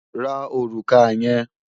Ra òrùka yẹn!